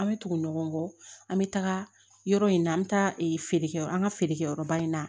An bɛ tugu ɲɔgɔn kɔ an bɛ taga yɔrɔ in na an bɛ taa feerekɛ an ka feerekɛyɔrɔba in na